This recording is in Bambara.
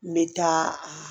N bɛ taa